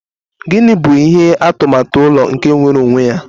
Gini bụ ihe atụmatụ ụlọ nke nwere onwe ya?